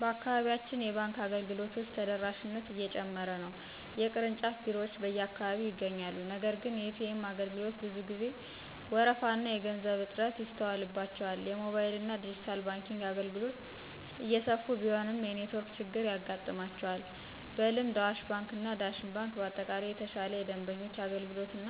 በአካባቢያችን የባንክ አገልግሎቶች ተደራሽነት እየጨመረ ነው። የቅርንጫፍ ቢሮዎች በየአካባቢው ይገኛሉ፤ ነገር ግን የኤ.ቲ.ኤም አገልግሎቶች ብዙ ጊዜ ወረፋና የገንዘብ እጥረት ይስተዋልባቸዋል። የሞባይልና ዲጂታል ባንኪንግ አገልግሎቶች እየሰፉ ቢሆንም የኔትወርክ ችግር ያጋጥማቸዋል። በልምድ አዋሽ ባንክ ወይም ዳሽን ባንክ በአጠቃላይ የተሻለ የደንበኞች አገልግሎት እና